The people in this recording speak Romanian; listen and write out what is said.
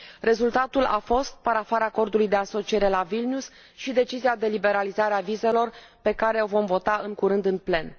Rezultatul a fost parafarea Acordului de asociere, la Vilnius și decizia de liberalizare a vizelor pe care o vom vota, în curând, în plen.